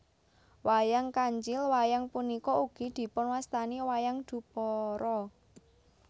Wayang Kancil Wayang punika ugi dipunwastani wayang Dupara